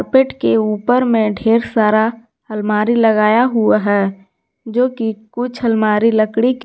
के ऊपर में ढेर सारा अलमारी लगाया हुआ है जो कि कुछ अलमारी लकड़ी के--